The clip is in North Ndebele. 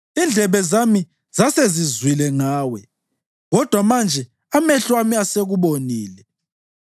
Indlebe zami zasezizwile ngawe kodwa manje amehlo ami asekubonile.